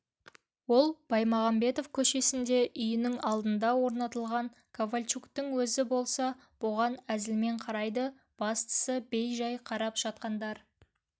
ол баймағамбетов көшесінде үйінің алдына орнатылған ковальчуктің өзі болса бұған әзілмен қарайды бастысы бей-жай қарап жатқандар